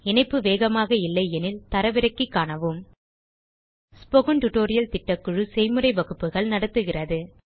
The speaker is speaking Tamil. இணைப்பு வேகமாக இல்லையெனில் தரவிறக்கி காணவும் ஸ்போக்கன் டியூட்டோரியல் திட்டக்குழு செய்முறை வகுப்புகள் நடத்துகிறது